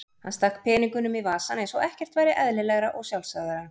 Hann stakk peningunum í vasann eins og ekkert væri eðlilegra og sjálfsagðara.